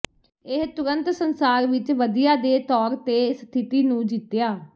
ਇਹ ਤੁਰੰਤ ਸੰਸਾਰ ਵਿੱਚ ਵਧੀਆ ਦੇ ਤੌਰ ਤੇ ਸਥਿਤੀ ਨੂੰ ਜਿੱਤਿਆ